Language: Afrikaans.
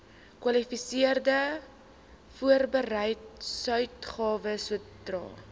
kwalifiserende voorbedryfsuitgawes sodra